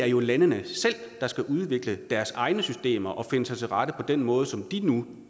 er jo landene selv der skal udvikle deres egne systemer og finde sig til rette på den måde som de nu